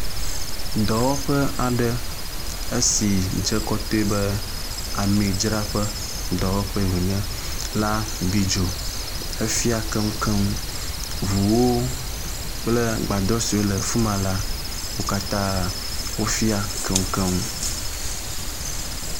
Dɔwɔƒe aɖe esi dze kɔtɔɛ be amidzraƒe dɔwɔƒee wonye la bi dzo hefia keŋkeŋ. Ʋuwo kple agbadɔ siwo le afima la, wo katã wofia keŋkeŋ.